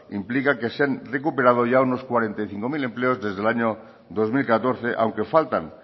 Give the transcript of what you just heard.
implica que se han recuperado ya unos cuarenta y cinco mil empleos desde el año dos mil catorce aunque faltan